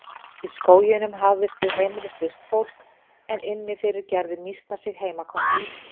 Í skóginum hafðist við heimilislaust fólk en inni fyrir gerðu mýsnar sig heimakomnar.